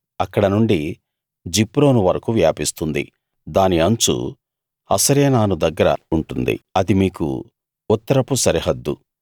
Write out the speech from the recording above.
అక్కడ నుండి జిప్రోను వరకూ వ్యాపిస్తుంది దాని అంచు హసరేనాను దగ్గర ఉంటుంది అది మీకు ఉత్తరపు సరిహద్దు